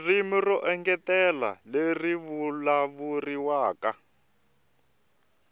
ririmi ro engetela leri vulavuriwaka